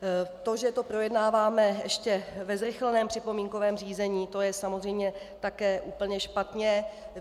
To, že to projednáváme ještě ve zrychleném připomínkovém řízení, to je samozřejmě také úplně špatně.